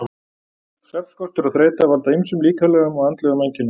Svefnskortur og þreyta valda ýmsum líkamlegum og andlegum einkennum.